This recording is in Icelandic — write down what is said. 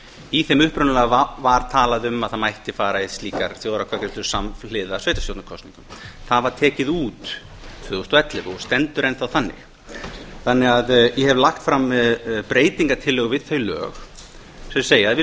í þeim upprunalega var talað um að það mætti fara í slíkar þjóðaratkvæðagreiðslur samhliða sveitarstjórnarkosningum það var tekið út tvö þúsund og ellefu og stendur enn þá þannig að ég hef lagt fram breytingartillögu við þau lög sem segja að við